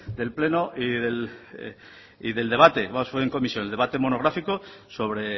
del pleno y del debate además fue en comisión el debate monográfico sobre